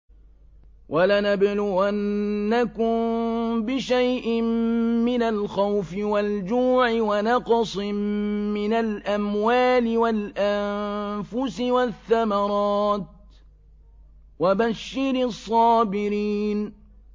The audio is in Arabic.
وَلَنَبْلُوَنَّكُم بِشَيْءٍ مِّنَ الْخَوْفِ وَالْجُوعِ وَنَقْصٍ مِّنَ الْأَمْوَالِ وَالْأَنفُسِ وَالثَّمَرَاتِ ۗ وَبَشِّرِ الصَّابِرِينَ